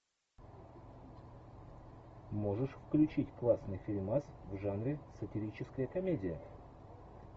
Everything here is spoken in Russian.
можешь включить классный фильмас в жанре сатирическая комедия